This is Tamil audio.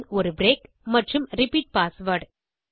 பின் ஒரு பிரேக் மற்றும் ரிப்பீட் பாஸ்வேர்ட்